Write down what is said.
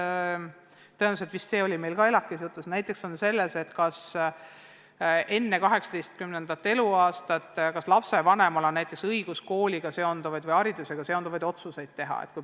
Ma tean, et on olnud ka vaidlus – see oli meil vist ELAK-is samuti jutuks –, kas enne lapse 18. eluaastat on lapsevanemal õigus kooliga või haridusega seonduvaid otsuseid teha.